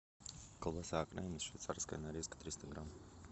колбаса окраина швейцарская нарезка триста грамм